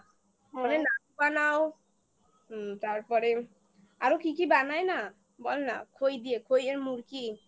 হ্যাঁ নাড়ু বানাও হুম তারপরে আরো কি কি বানায় না? বলনা খই দিয়ে খই এর মুরকি